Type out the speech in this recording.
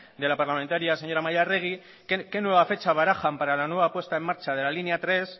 de la parlamentaria señora amaia arregi qué nueva fecha barajan para la nueva apuesta en marcha de la línea tres